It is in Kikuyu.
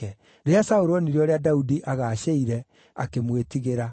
Rĩrĩa Saũlũ onire ũrĩa Daudi aagacĩire, akĩmwĩtigĩra.